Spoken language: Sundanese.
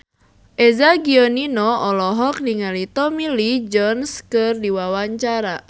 Eza Gionino olohok ningali Tommy Lee Jones keur diwawancara